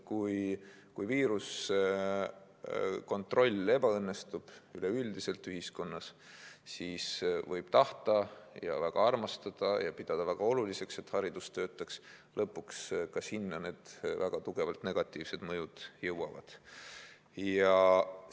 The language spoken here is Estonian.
Kui kontroll viiruse üle kaob üleüldiselt kogu ühiskonnas, siis võib tahta ja pidada väga oluliseks, et koolid töötaksid, aga lõpuks need väga tugevalt negatiivsed mõjud jõuavad ka sinna.